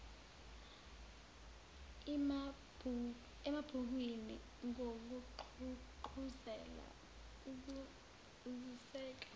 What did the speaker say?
emabhukwini ngokugqugquzela ukwaziseka